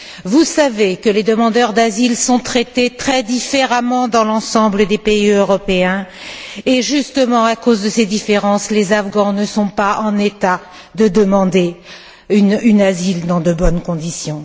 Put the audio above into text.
Vous savez que les demandeurs d'asile sont traités très différemment dans l'ensemble des pays européens et, justement à cause de ces différences, les Afghans ne sont pas en état de demander un asile dans de bonnes conditions.